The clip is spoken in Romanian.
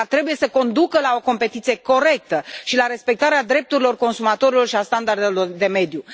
Dar trebuie să conducă la o competiție corectă și la respectarea drepturilor consumatorilor și a standardelor de mediu.